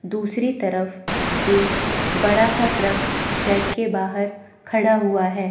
दूसरी तरफ एक बड़ा सा ट्रक शेड के बाहर खड़ा हुआ है।